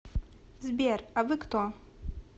сбер а вы кто